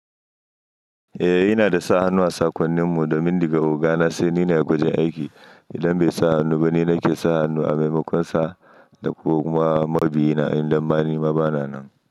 Eh, ina da sa hannu a sakonnin mu domin diga ogana sai ni ne a gwajin aiki. Idan bai sa hannu ba ni ne ke sa hannu a maimakon sa da kuma mabiyina idan ma ni ma bana nan.